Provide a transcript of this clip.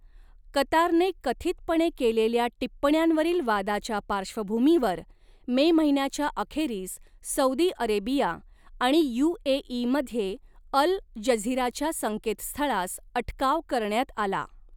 कतारने कथितपणे केलेल्या टिप्पण्यांवरील वादाच्या पार्श्वभूमीवर मे महिन्याच्या अखेरीस सौदी अरेबिया आणि यू.ए.ई.मध्ये अल जझीराच्या संकेतस्थळास अटकाव करण्यात आला.